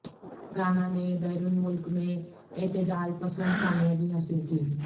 گانا نے بیرون ملک میں اعتدال پسند کامیابی حاصل کی